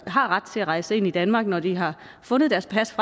har ret til at rejse ind i danmark når de har fundet deres pas